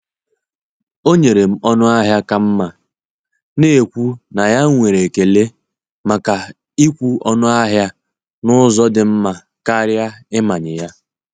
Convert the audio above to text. Ọ nyere m ọnụ ahịa ka mma, na-ekwu na ya nwere ekele maka ịkwụ ọnụ ahịa n’ụzọ dị mma karịa ịmanye ya.